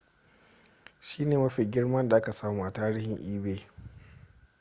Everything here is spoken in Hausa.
shine mafi girma da aka samu a tarihin ebay